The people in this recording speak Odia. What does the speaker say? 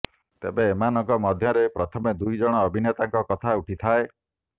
ତେବେ ଏମାନଙ୍କ ମଧ୍ୟରେ ପ୍ରଥମେ ଦୁଇ ଜଣ ଅଭିନେତାଙ୍କ କଥା ଉଠିଥାଏ